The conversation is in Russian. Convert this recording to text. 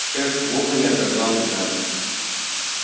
шеф вовремя отозвал игната